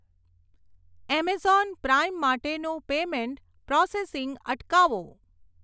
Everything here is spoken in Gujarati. એમેઝોન પ્રાઈમ માટેનું પેમેંટ પ્રોસેસિંગ અટકાવો.